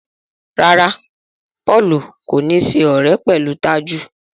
ràrá Paul kò ní ṣe ọrẹ pẹlú Taju.